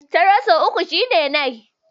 Taro sau uku shine nai.